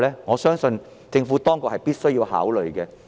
我相信政府當局必須加以考慮。